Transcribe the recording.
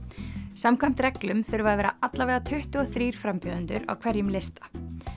samkvæmt reglum þurfa að vera alla vega tuttugu og þrír frambjóðendur á hverjum lista